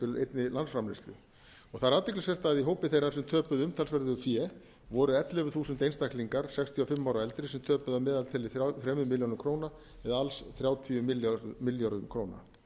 einni landsframleiðslu það er athyglisvert að í hópi þeirra sem töpuðu umtalsverðu fé voru ellefu þúsund einstaklingar sextíu og fimm ára og eldri sem töpuðu að meðaltali þremur milljónum króna eða alls þrjátíu milljörðum króna